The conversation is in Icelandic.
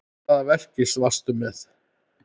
Hvaða verki varstu með?